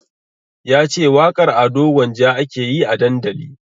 Yace waƙar Ado Gwanja ake yi a dandali